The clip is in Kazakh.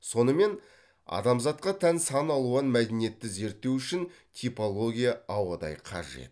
сонымен адамзатқа тән сан алуан мәдениетті зерттеу үшін типология ауадай қажет